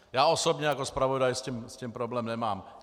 Já osobně jako zpravodaj s tím problém nemám.